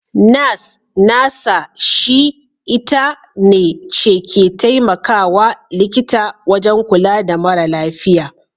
Nas (Nurser) shi/ita ne/ce ke temakawa likita wajan kula da mara lafiya.